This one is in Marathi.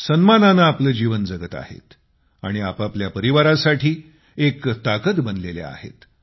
सन्मानाने आपले जीवन जगत आहेत आणि आपापल्या परिवारासाठी एक ताकद बनलेल्या आहेत